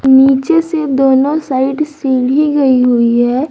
नीचे से दोनों साइड सीढ़ी गई हुई है।